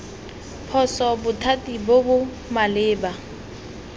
phoso bothati bo bo maleba